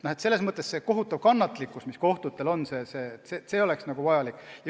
Selles mõttes on kohtutes vajalik ülim kannatlikkus.